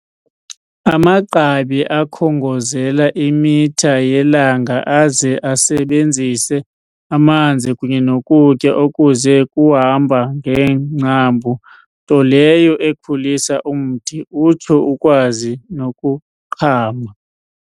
Amagqabi akhongozela imitha yelanga aze asebenzise amanzi kunye nokutya okuze kuhamba ngeengcambu nto leyo ekhulisa umthi, utsho ukwazi nokuqhama.